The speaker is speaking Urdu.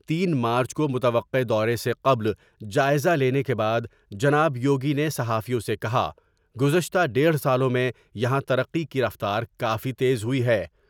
تین مارچ کو متوقع دورے سے قبل جائزہ لینے کے بعد جناب یوگی نے صحافیوں سے کہا گزشتہ ڈیڑھ سالوں میں یہاں ترقی کی رفتار سے کافی تیز ہوئی ہے ۔